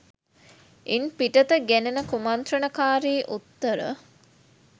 ඉන් පිටත ගෙනෙන කුමන්ත්‍රණකාරී උත්තර